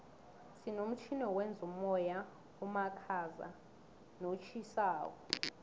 sinomtjhini wokwenza umoya omakhaza notjhisako